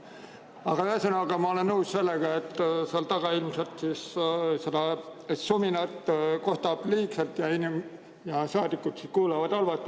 Aga ühesõnaga, ma olen nõus sellega, et seal taga ilmselt seda suminat kostab liigselt ja saadikud kuulevad halvasti.